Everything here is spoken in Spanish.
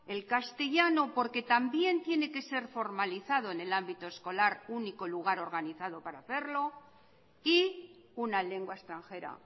el castellano porque también tiene que ser formalizado en el ámbito escolar único lugar organizado para hacerlo y una lengua extranjera